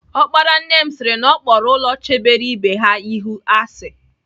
Ọkpara nne sịri na Ọ kpọrọ ụlọ chebere ibe ha ihu asị.